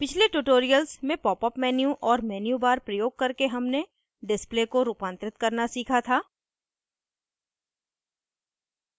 पिछले tutorials में popup menu और menu bar प्रयोग करके हमने display को रूपांतरित करना सीखा था